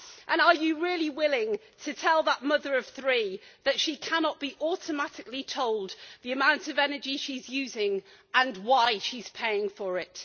And are you really willing to tell that mother of three that she cannot be automatically told the amount of energy she is using and why she is paying for it?